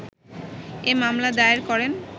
এ মামলা দায়ের করেন।